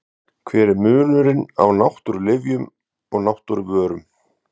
Hver er munurinn á náttúrulyfjum og náttúruvörum?